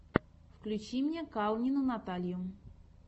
включи мне калнину наталью